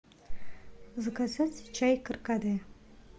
заказать чай каркаде